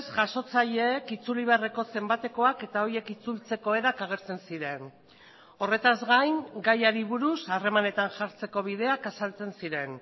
jasotzaileek itzuli beharreko zenbatekoak eta horiek itzultzeko erak agertzen ziren horretaz gain gaiari buruz harremanetan jartzeko bideak azaltzen ziren